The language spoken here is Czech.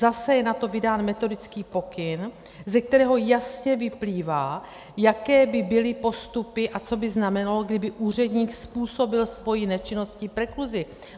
Zase je na to vydán metodický pokyn, ze kterého jasně vyplývá, jaké by byly postupy a co by znamenalo, kdyby úředník způsobil svou nečinnosti prekluzi.